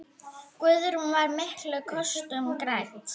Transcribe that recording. Guðrún var miklum kostum gædd.